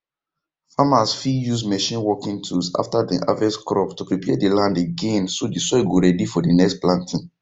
farmers fit use machine working tools after dem harvest crop to prepare the land again so the soil go ready for the next planting